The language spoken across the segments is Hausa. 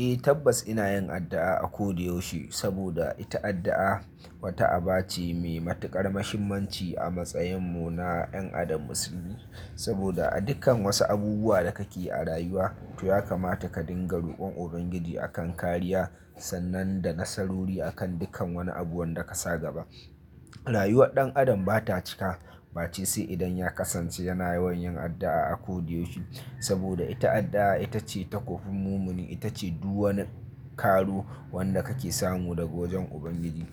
Eh tabbas ina yin addu'a a kodayaushe saboda ita addu'a wata aba ce me matuƙar muhimmanci a matsayin mu na 'yan Adam musulmi saboda a dukkan wasu abubuwa da kake yi a rayuwa to ya kamata ka dinga rokon Ubangiji akan kariya sannan da nasarori akan dukkan wani abu wanda ka sa gaba. Rayuwar ɗan adam bata cika bace sai idan ya kasance yana yawan yin addu'a a kodayaushe saboda ita addu'a ita ce takobin mumini ita ce du wani karo wanda kake samu daga wajen Ubangiji.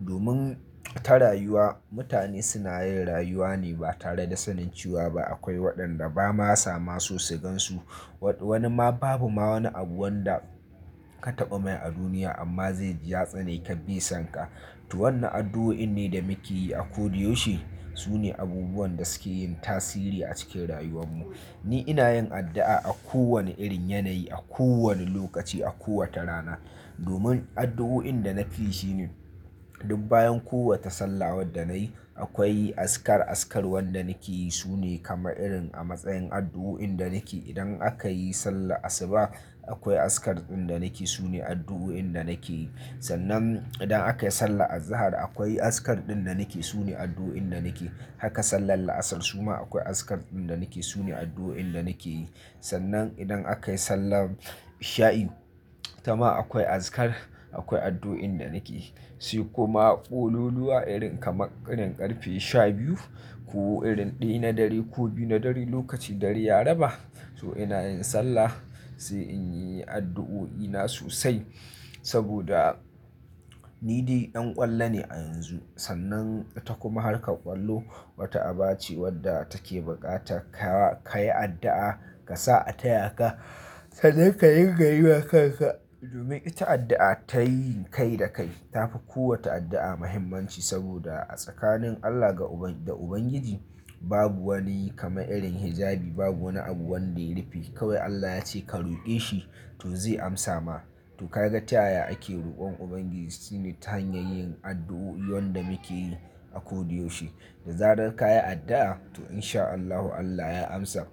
Domin ta rayuwa mutane suna yin rayuwa ne ba tare da sanin cewa ba akwai waɗanda ba ma sama so su gansu wani ma babu ma wani abu wanda ka taɓa mai a duniya amma zai ji ya tsane ka be sanka. To wannan addu'oin ne da muke yi a kodayaushe sune abubuwan da suke yin tasiri a cikin rayuwan mu. Ni ina yin addu'a a kowane irin yanayi a kowane lokaci a kowace rana domin addu'oin da na fi shi ne duk bayan kowace salla wadda nayi akwai azkar azkar wanda nake yi su ne kama irin a matsayin addu'oin da nake idan aka yi sallar asuba akwai azkar ɗin da nake sune addu'oin da nake. Sannan idan aka yi sallar azahar akwai azkar ɗin da nake su ne addu'oin da nake haka sallar la'asar su ma akwai azkar ɗin da nake su ne addu'oin da nake yi sannan idan aka yi sallar isha'i ita ma akwai azkar akwai addu'oin da nake. Sai kuma ƙololuwa irin kamar irin ƙarfe sha biyu ko irin ɗaya na dare ko biyu na dare lokacin dare ya raba to ina yin sallah sai in yi addu'o'i na sosai saboda ni dai ɗan ƙwallo ne a yanzu sannan ita kuma hakar ƙwallo wata aba ce wadda take buƙatar ka ka yi addu'a ka sa a taya ka sai dai ka ringa yi wa kanka domin ita addu'a ta yi kai da kai tafi kowace addu'a muhimmanci saboda a tsakanin Allah da Ubangiji babu wani kama irin hijabi babu wani abu wanda ya rufe kawai Allah ya ce ka roƙe shi to zai amsa ma. To ka ga ta yaya ake rokon Ubangiji shine ta hanyar yin addu'o'i wanda muke yi a kodayaushe. Da zarar ka yi addu'a to in sha Allahu Allah ya amsa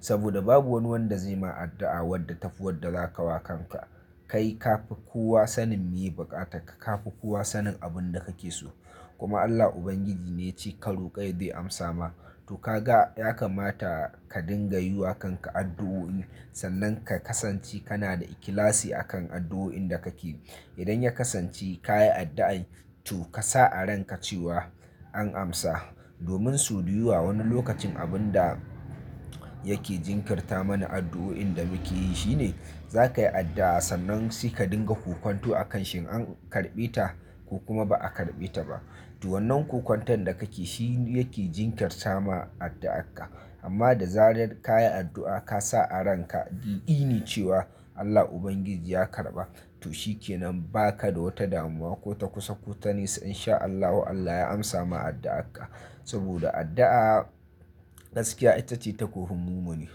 saboda babu wani wanda zai ma addu'a wadda ta fi wadda za ka wa kanka. Kai ka fi kowa sanin meye buƙatar ka ka fi kowa sanin abun da kake so kuma Allah Ubangiji ne ya ce ka roƙai ya zai amsa ma to ka ga ya kamata ka dinga yi wa kanka addu'o'i sannan ka kasance kana da ikhlasi akan addu'o'in da kake yi. Idan ya kasance ka yi addu'a to ka sa a ranka cewa an amsa domin so da yawa wani lokacin abun da yake jinkirta mana addu'o'in da muke yi shine za ka yi addu'a sannan sai ka dinga kokanto akan shi in an karɓe ta ko kuma ba a karɓe ta ba. To wannan kokantan da kake shi yake jinkirtar ma addu'arka amma da zarar ka yi addu'a ka sa a ranka da yakini cewa Allah Ubangiji ya karɓa to shi ke nan ba ka da wata damuwa ko ta kusa ko ta nisa in sha Allahu Allah ya amsa ma addu'arka saboda addu'a gaskiya ita ce takobin mumini.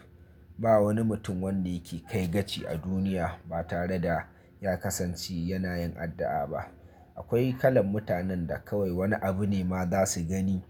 Ba wani mutum wanda yake kai gaci a duniya ba tare da ya kasance yana yin addu'a ba. Akwai kalan mutanen da kawai wani abu ne ma za su gani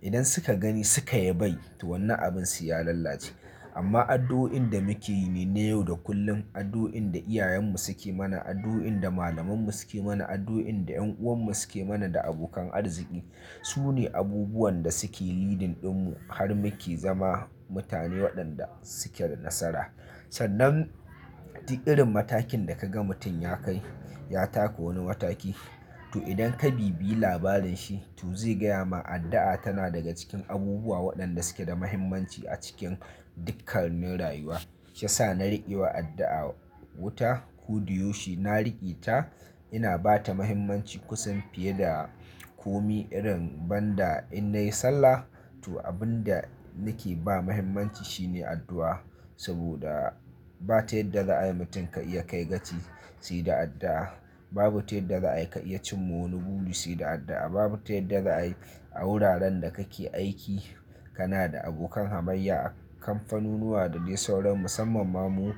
idan suka gani suka yabai to wannan abin sai ya lallace. Amma addu'o'in da muke yi ne na yau da kullum addu'o'in da iyayen mu suke mana addu'o'in da malaman mu suke mana addu'o'in da 'yan uwan mu suke mana da abokan arziki su ne abubuwan da suke leading ɗin mu har muke zama mutane waɗanda suke da nasara. Sannan dik irin matakin da ka ga mutum ya kai ya taka wani mataki to idan ka bibiyi labarin shi to zai gaya ma addu'a tana daga cikin abubuwa waɗanda suke da muhimmanci a cikin dukkanin rayuwa. Shi yasa na riƙewa addu'a wuta ko da yaushe na riƙe ta ina bata muhimmanci kusan fiye da komi irin ban da in nayi sallah to abun da nake ba muhimmanci shi ne addu'a saboda ba ta yadda za a yi mutum ka iya kai gaci sai da addu'a babu ta yadda za a yi ka iya cin ma wani buri sai da addu'a babu ta yadda za a yi a wuraren da kake aiki kana da abokan hamayya a kamfanunuwa da dai sauran musamman ma mu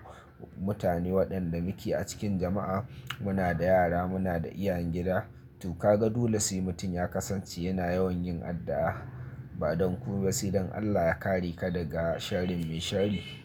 mutane waɗanda muke a cikin jama'a muna da yara muna da iyayen gida to ka ga dole sai mutum ya kasance yana yawan yin addu'a ba don kome ba sai don Allah ya kare ka daga sharrin mai shari.